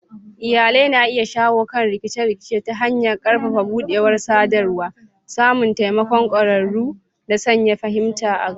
Iyalai na iya shawo kan rikice-rikice ta hanyar ƙarfafa buɗewar sadarwa, samun taimakon ƙwararru, da sanya fahimta a gaba.